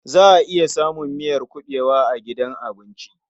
Za a iya samun miyar kuɓewa a gidan abinci.